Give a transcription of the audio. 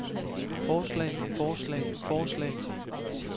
forslag forslag forslag